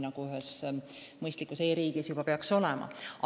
Ühes mõistlikus e-riigis peaks see küll nii olema.